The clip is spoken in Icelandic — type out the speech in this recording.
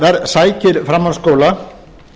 sem sækir framhaldsskóla